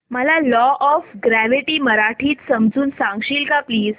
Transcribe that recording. मला law of gravity मराठीत समजून सांगशील का प्लीज